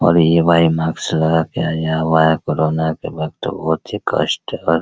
और ये भाई माक्स लगा के आया हुआ है कोरोना के वक्त बहुत ही कष्ट अर --